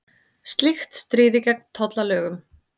Slíkt stríði gegn tollalögum